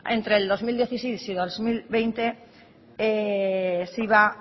entre el dos mil dieciséis y el dos mil veinte se iba